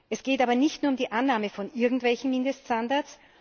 Es geht aber nicht nur um die Annahme von irgendwelchen Mindeststandards.